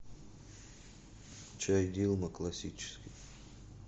чай дилма классический